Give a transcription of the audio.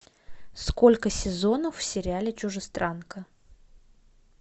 сколько сезонов в сериале чужестранка